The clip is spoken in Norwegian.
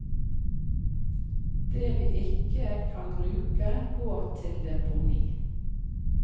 Det vi ikke kan bruke går til deponi.